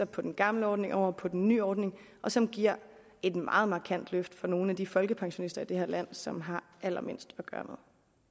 på den gamle ordning over på den nye ordning og som giver et meget markant løft for nogle af de folkepensionister i det her land som har allermindst at gøre